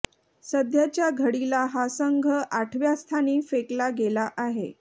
सध्याच्या घडीला हा संघ आठव्या स्थानी फेकला गेला आहे